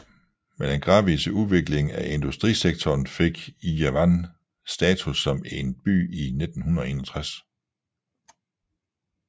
Med den gradvise udvikling af industrisektoren fik Ijevan status som en by i 1961